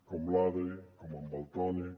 com l’adri com en valtònyc